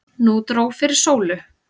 Nú dró fyrir sólu.